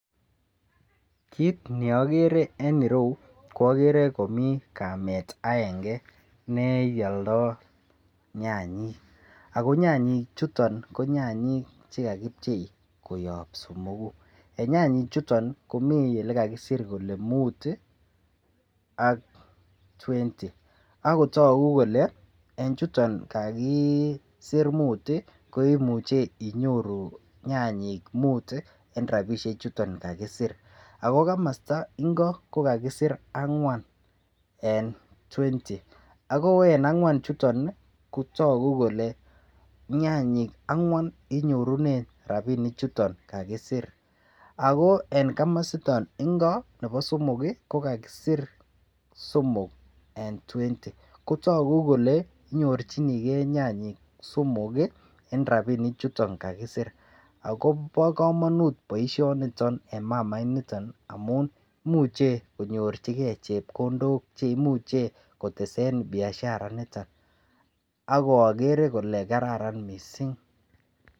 Kiit neagere en ireu ko agere ko mii kamet aenge ne alandai nyanyi ako nyanyi chuton ako nyanyi chekakipchei koyop somoku en nyanyi chuton komi yekakisir kole muut ak twenty akotogu kole en chuton kakiser muut kimuchei inyoru nyanyik muut en rapishe chuton kakiser, ako kamasta ng'o kokakiser angwan en twenty ako en angwan chuto ko togu kole nyanyik angwan inyorune rapinik chuton kakiser ako komosta ingo nebo somok ko kakiser somok eng twenty kotogu kole inyorchinigei nyanyik somok en ropinik chuton kakiser. Ako po komonut poishoniton eng mamainitan amu muchei konyorchingei chepkondok cheimuchen kotese biashara nitan ako agere ale gararan mising.